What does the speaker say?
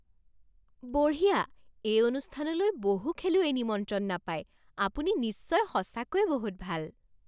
বঢ়িয়া! এই অনুষ্ঠানলৈ বহু খেলুৱৈয়ে নিমন্ত্ৰণ নাপায়। আপুনি নিশ্চয় সঁচাকৈয়ে বহুত ভাল!